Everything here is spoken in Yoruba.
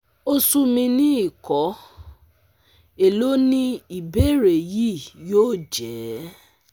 O sumi ni iko! Elo ni ibeere yii yoo jẹ?